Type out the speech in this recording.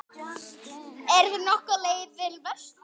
Ertu nokkuð á leið vestur?